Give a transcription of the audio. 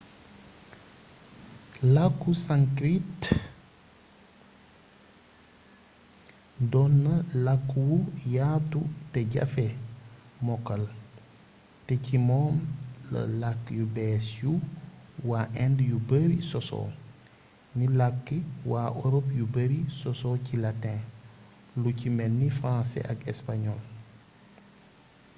làkku sanskrit doon la làkk wu yaatu te jafee mokkal te ci moom la làkk yu bees yu waa inde yu bari sosoo ni làkki waa europe yu bari sosoo ci latin lu ci melni français ak espagnol